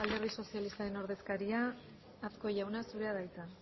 alderdi sozialistaren ordezkaria azkue jauna zurea da hitza